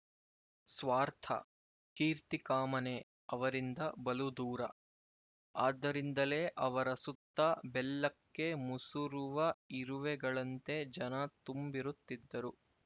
ಸ್ವಾರ್ಥ ಕೀರ್ತಿಕಾಮನೆ ಅವರಿಂದ ಬಲು ದೂರ ಆದ್ದರಿಂದಲೇ ಅವರ ಸುತ್ತ ಬೆಲ್ಲಕ್ಕೆ ಮುಸುರುವ ಇರುವೆಗಳಂತೆ ಜನ ತುಂಬಿರುತ್ತಿದ್ದರು